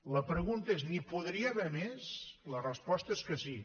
la pregunta és n’hi podria haver més la resposta és que sí